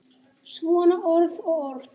Svona orð og orð.